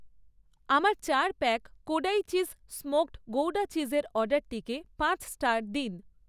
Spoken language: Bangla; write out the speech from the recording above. আমার চার pack Kodai cheese smoked gouda চিজের অর্ডারটিকে পাঁচ স্টার দিন।